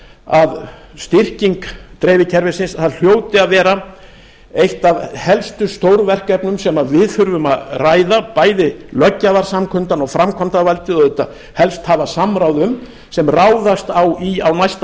að styrking dreifikerfisins það hljóti að vera eitt af helstu stórverkefnum sem við þurfum að ræða bæði löggjafarsamkundan og framkvæmdarvaldið og auðvitað helst hafa samráð um sem ráðast á í á næsta